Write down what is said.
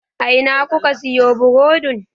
A Ina kuka siyo burodin?